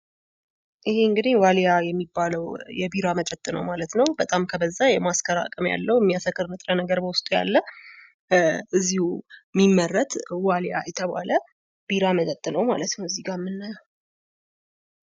ይህ እንግዲህ ዋሊያ የሚባለው የቢራ መጠጥ ነው ማለት ነው ፤ በጣም የማስከር አቅም ያለው ሚያሰክር ንጥረነገር በዉስጡ ያለው ፤ እዚሁ የሚመረት ዋሊያ የተባለ ቢራ መጠጥ ነው ማለት ነው እዚጋ የምናየው።